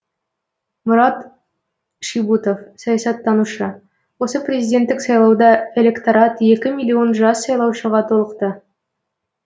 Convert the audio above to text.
марат шибұтов саясаттанушы осы президенттік сайлауда электорат екі миллион жас сайлаушыға толықты